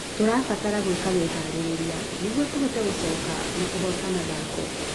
Tũrabatara gwĩka meharĩrĩria nĩguo tũhote gũcoka na kũhoota mathako